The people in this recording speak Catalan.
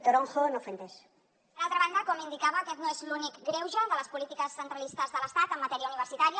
d’altra banda com indicava aquest no és l’únic greuge de les polítiques centralistes de l’estat en matèria universitària